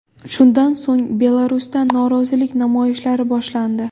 Shundan so‘ng Belarusda norozilik namoyishlari boshlandi.